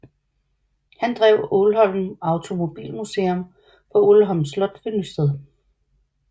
Han drev Aalholm Automobilmuseum på Ålholm Slot ved Nysted